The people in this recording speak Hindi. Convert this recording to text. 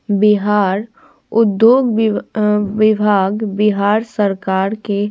बिहार उद्योग वि उम्म विभाग बिहार सरकार के --